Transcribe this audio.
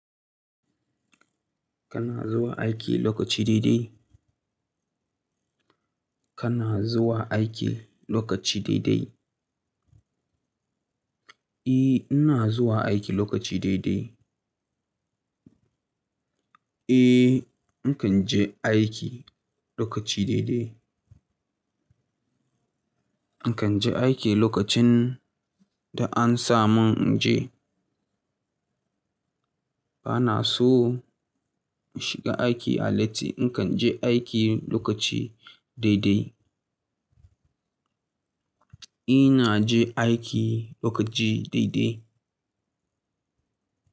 Kana zuwa aiki lokaci daidai? Kana zuwa aiki lokaci daidai? Eh, ina zuwa aiki lokaci daidai. Eh, in kan je aiki lokaci daidai. In kan je aiki lokacin da an sa mun inje. Bana so in shiga aiki a latti, in kan je aiki lokaci daidai. Ina je aiki lokaci daidai.